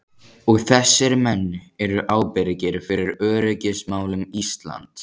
Og þessir menn eru ábyrgir fyrir öryggismálum Íslands!